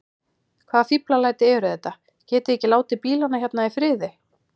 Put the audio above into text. Hvaða fíflalæti eru þetta. getiði ekki látið bílana hérna í friði!